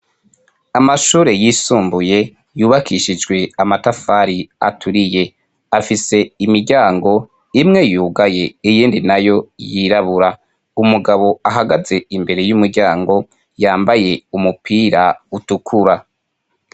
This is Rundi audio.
Amashure yisumbuye yubakishijwe amatafari aturiye, afise imiryango imwe yugaye iyindi nayo yirabura, umugabo ahagaze imbere y'umuryango yambaye umupira utukura.